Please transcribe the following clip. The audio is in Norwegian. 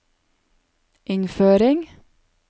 innføring